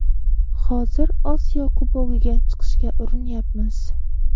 Hozir Osiyo Kubogiga chiqishga urinyapmiz.